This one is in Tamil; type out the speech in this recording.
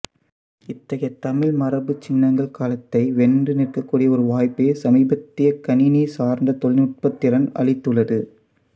இத்தகைய தமிழ் மரபுச் சின்னங்கள் காலத்தை வென்று நிற்கக்கூடிய ஒரு வாய்ப்பைச் சமீபத்திய கணினி சார்ந்த தொழில்நுட்பத் திறன் அளித்துள்ளது